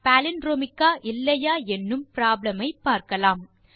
palindromic ஆ இல்லையா என்னும் ப்ராப்ளம் ஐ பார்க்கலாம்